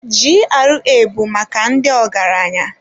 GRA bụ maka ndị ọgaranya.